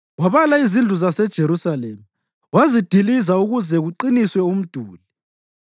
Wabala izindlu zaseJerusalema, wazidiliza ukuze kuqiniswe umduli.